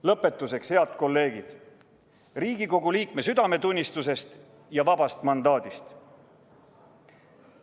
Lõpetuseks, head kolleegid, Riigikogu liikme südametunnistusest ja vabast mandaadist.